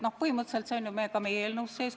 No põhimõtteliselt see on ka meie eelnõus sees.